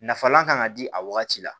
Nafalan kan ka di a wagati la